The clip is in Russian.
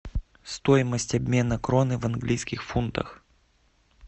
стоимость обмена кроны в английских фунтах